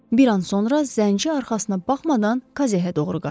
Bir an sonra zənci arxasına baxmadan kazeə doğru qaçdı.